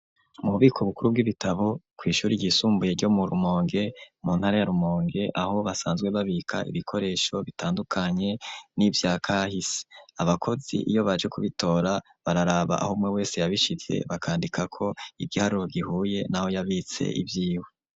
Mu bubiko bukuru bw'ibitabo kw'ishure ryisumbuye ryo mu Rumonge mu ntara ya Rumonge aho basanzwe babika ibikoresho bitandukanye n'ivyakahise, abakozi iyo baje kubitora bararaba aho umwumwe wese yabishize bakandikako igiharuro gihuye naho yabitse ivyiwe.